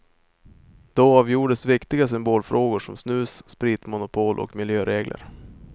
Då avgjordes viktiga symbolfrågor som snus, spitmonopol och miljöregler.